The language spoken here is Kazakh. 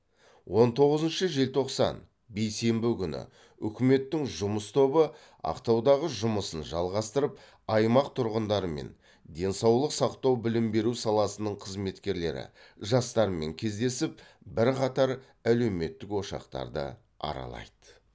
он тоғызыншы желтоқсан бейсенбі күні үкіметтің жұмыс тобы ақтаудағы жұмысын жалғастырып аймақ тұрғындарымен денсаулық сақтау білім беру саласының қызметкерлері жастармен кездесіп бірқатар әлеуметтік ошақтарды аралайды